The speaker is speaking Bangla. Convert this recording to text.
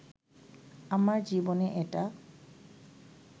আমার জীবনে এটা